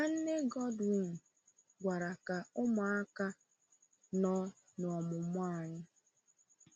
Nwanne Godwin gwara ka ụmụaka nọ n’omụmụ anyị.